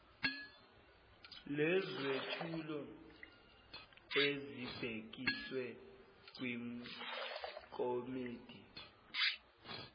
lwezethulo ezibhekiswe kwikomidi